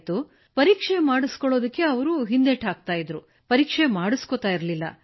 ಆದರೆ ಅವರು ಪರೀಕ್ಷೆ ಮಾಡಿಸಿಕೊಳ್ಳಲು ಹಿಂದೇಟು ಹಾಕುತ್ತಿದ್ದರು ಮಾಡಿಸಿಕೊಳ್ಳುತ್ತಿರಲಿಲ್ಲ